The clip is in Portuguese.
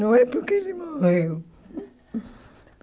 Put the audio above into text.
Não é porque ele morreu.